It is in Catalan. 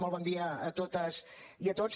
molt bon dia a totes i a tots